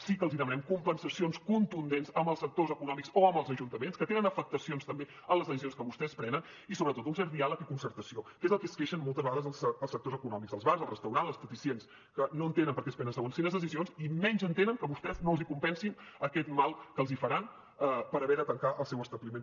sí que els demanem compensacions contundents amb els sectors econòmics o amb els ajuntaments que tenen afectacions també per les decisions que vostès prenen i sobretot un cert diàleg i concertació que és del que es queixen moltes vegades els sectors econòmics els bars els restaurants les esteticistes que no entenen per què es prenen segons quines decisions i menys entenen que vostès no els compensin aquest mal que els faran per haver de tancar el seu establiment